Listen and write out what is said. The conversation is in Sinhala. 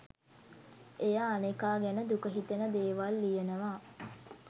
එය අනෙකා ගැන දුක හිතෙන දේවල් ලියනවා